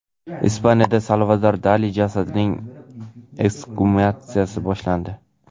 Ispaniyada Salvador Dali jasadining eksgumatsiyasi boshlandi.